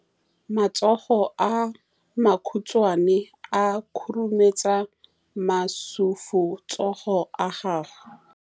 Matsogo a makhutshwane a khurumetsa masufutsogo a gago.